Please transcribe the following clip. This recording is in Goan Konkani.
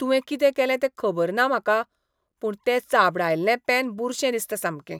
तुवें कितें केलें तें खबर ना म्हाका पूण तें चाबडायल्लें पेन बुरशें दिसता सामकें.